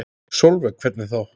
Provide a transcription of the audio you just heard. Sólveig: Hvernig þá?